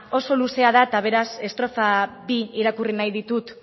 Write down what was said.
oso luzea da eta beraz estrofa bi irakurri nahi ditut